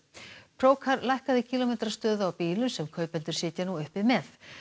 procar lækkaði kílómetrastöðu á bílum sem kaupendur sitja nú uppi með